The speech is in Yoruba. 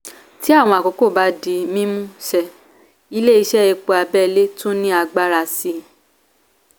tí àwọn àkókò bá di mímú ṣe ilé ìṣe epo abẹ́lé tún ní agbára sii.